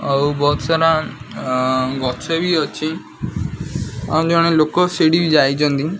ପାହାଡ ସାଇଡ ରେ ଗୋଟେ ପୋଖରୀ ଟାଇପ୍ ର କିଛି ପାଣି ଜମିଛି ମଧ୍ୟ ସାମ୍ନା ରେ ଗୋଟେ ବ୍ରିଜ ଟାଇପ୍ ଫୁଲ କୁଣ୍ଡ ରେ କିଛି ଗଛ ମଧ୍ୟ ଲାଗିଛି ଦେଖା ଯାଉଛି କିଛି ଝରଣା ଟାଇପ୍ ପାଣି ଖସୁଛି।